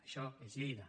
això és lleida